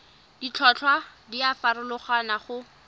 ditlhotlhwa di a farologana go